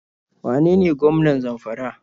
Wane ne gwamnan Zamfara?